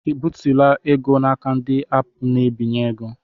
I bitụla ego n'aka ndị aapụ na-ebinye ego?